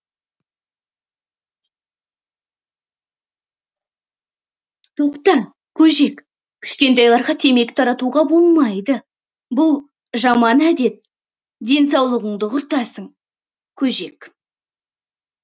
тоқта көжек кішкентайларға темекі тартуға болмайды бұл жаман әдет денсаулығыңды құртасың көжек